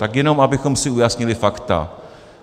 Tak jenom abychom si ujasnili fakta.